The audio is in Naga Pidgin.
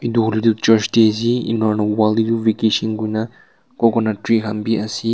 etu hoilae tu church tae ase enia hoina wall tae bi vacation kurna coconut tree khan bi ase--